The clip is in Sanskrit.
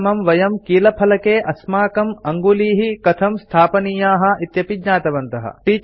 तेन समं वयं कीलफलके अस्माकम् अङ्गुलीः कथं संस्थापनीयाः इत्यपि ज्ञातवन्तः